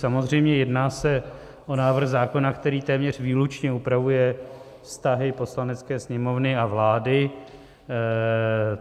Samozřejmě, jedná se o návrh zákona, který téměř výlučně upravuje vztahy Poslanecké sněmovny a vlády.